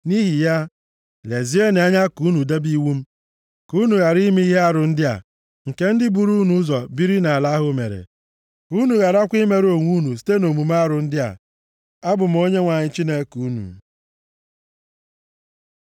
Nʼihi ya, lezienụ anya ka unu debe iwu m, ka unu ghara ime ihe arụ ndị a, nke ndị buru unu ụzọ biri nʼala ahụ mere. Ka unu gharakwa imerụ onwe unu site nʼomume arụ ndị a. Abụ m Onyenwe anyị Chineke unu.’ ”